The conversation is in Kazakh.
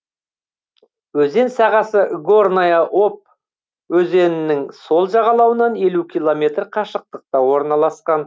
өзен сағасы горная обь өзенінің сол жағалауынан елу километр қашықтықта орналасқан